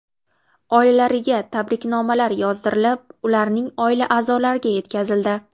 Oilalariga tabriknomalar yozdirilib, ularning oila a’zolariga yetkazildi.